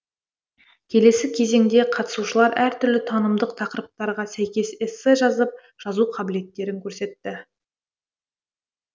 келесі кезеңде қатысушылар әр түрлі танымдық тақырыптарға сәйкес эссе жазып жазу қабілеттерін көрсетті